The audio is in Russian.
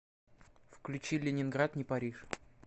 включи ленинград не париж